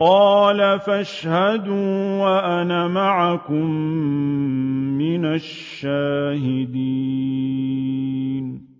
قَالَ فَاشْهَدُوا وَأَنَا مَعَكُم مِّنَ الشَّاهِدِينَ